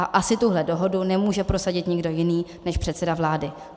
A asi tuhle dohodu nemůže prosadit nikdo jiný než předseda vlády.